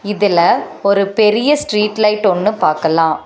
இதில ஒரு பெரிய ஸ்ட்ரீட் லைட் ஒன்னு பாக்கலா.